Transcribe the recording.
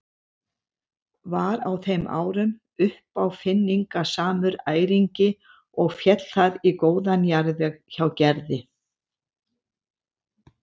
Var á þeim árum uppáfinningasamur æringi og féll það í góðan jarðveg hjá Gerði.